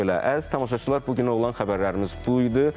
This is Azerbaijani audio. Bax belə, əziz tamaşaçılar, bu günə olan xəbərlərimiz bu idi.